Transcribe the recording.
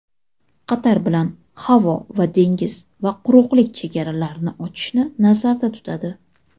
Qatar bilan havo va dengiz va quruqlik chegaralarini ochishni nazarda tutadi.